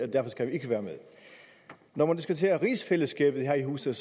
når man diskuterer rigsfællesskabet her i huset